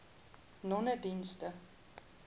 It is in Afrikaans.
nonedienste